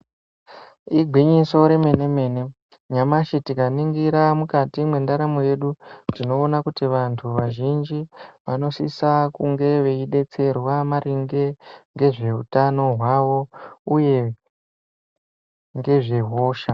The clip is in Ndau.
I gwinyiso remene mene nyamashi tikaningira mukati mwendaramo yedu tinoona kuti vantu vazhinji vanosisa kunge veidetserwa maringe nezveutano hwavo uye ngezvehosha.